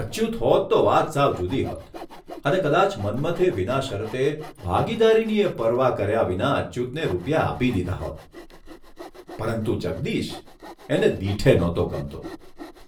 અચ્યુત હોત તો વાત સાવ જુદી હોત અને કદાચ મન્મથે વિના શરતે, ભાગીદારીની ય પરવા કર્યા વિના અચ્યુતને રૂપિયા આપી દીધા હોત, પરંતુ જગદીશ એને દીઠે નહોતો ગમતો,